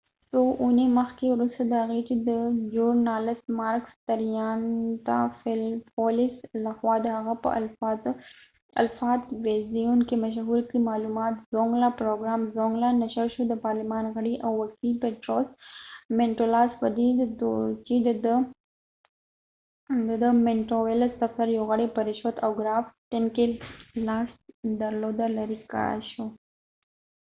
څو اوونی مخکې ، وروسته د هغې چې د ژورنالست مارکس تریانتافیلپولیس makis triantafylopoulos له خوا د هغه په الفا تلويزیون کې مشهور پروګرام زونګلاzongla کې معلومات نشر شو د پارلمان غړی او وکېل پیټروس مینټولاس petros mantouvalos په دي تو ر چې دده د دفتر یو غړی په رشوت او ګرافټنګ کې لاس درلوده لري کړای شو